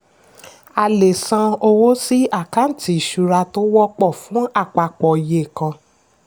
a lè san owó sí àkántì ìṣura tó wọ́pọ̀ fún àpapọ̀ iye kàn.